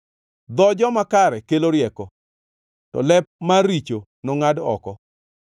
Dho joma kare kelo rieko, to lep mar richo nongʼad oko.